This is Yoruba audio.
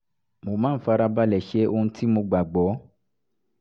mo máa ń fara balẹ̀ ṣe ohun tí mo gbà gbọ́